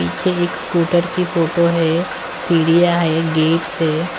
पीछे एक स्कूटर की फोटो है सीढ़िया है गेट से--